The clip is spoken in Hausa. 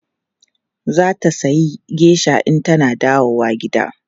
Za ta sayi geisha in tana dawowa gida.